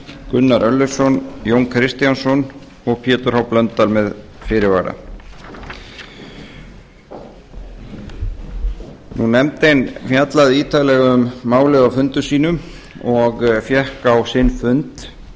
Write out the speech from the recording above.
gunnar örlygsson jón kristjánsson og pétur h blöndal með fyrirvara nefndin fjallaði ítarlega um málið á fundum sínum og fékk á sinn fund